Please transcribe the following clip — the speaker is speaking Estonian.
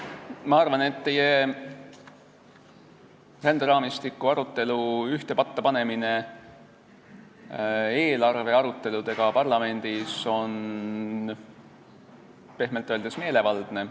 Ma arvan, et ränderaamistiku arutelu ühte patta panemine eelarvearuteludega parlamendis on pehmelt öeldes meelevaldne.